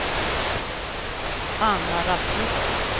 Anna Rasmusson